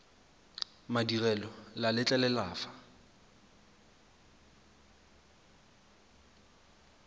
madirelo le a letlelela fa